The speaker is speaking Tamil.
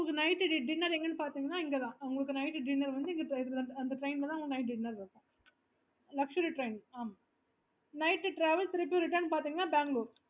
okay